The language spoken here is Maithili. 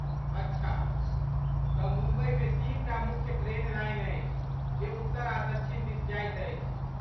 अच्छा, तँ मुम्बईमे तीनटा मुख्य ट्रेन लाइन अछि जे उत्तर आ दक्षिण दिस जाइत अछि।